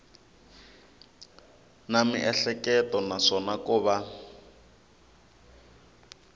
na miehleketo naswona ko va